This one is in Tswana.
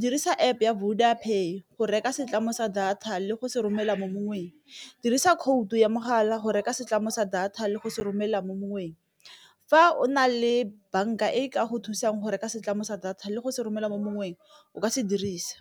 dirisa App ya Voda pay go reka setlamong sa data le go seromela mo mongweng, dirisa khoutu ya mogala go reka setlamong sa data le go se romela mo moweng fa o na le banka e ka go thusang go reka setlamong data le go se romela mo moweng o ka se dirisa.